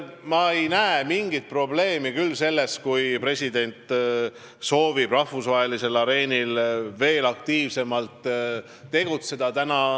Ma ei näe mingit probleemi selles, kui president soovib rahvusvahelisel areenil veel aktiivsemalt tegutseda.